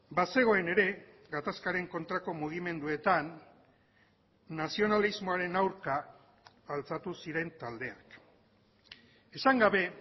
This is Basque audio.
bazegoen ere gatazkaren kontrako mugimenduetan nazionalismoaren aurka altxatu ziren taldeak esan gabe